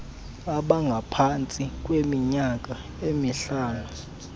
abangaphantsi kweminyaka emihlanu